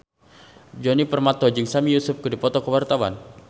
Djoni Permato jeung Sami Yusuf keur dipoto ku wartawan